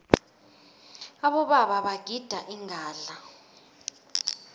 abobaba bagida ingadla